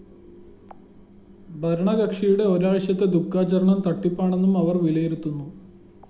ഭരണകക്ഷിയുടെ ഒരാഴ്ചത്തെ ദുഃഖാചരണം തട്ടിപ്പാണെന്നും അവര്‍ വിലയിരുത്തുന്നു